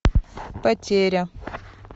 потеря